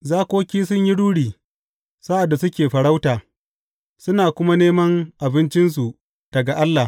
Zakoki sun yi ruri sa’ad da suke farauta suna kuma neman abincinsu daga Allah.